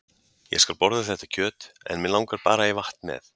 Ég skal borða þetta kjöt en mig langar bara í vatn með.